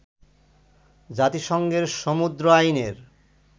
জাতিসংঘের সমুদ্র আইনের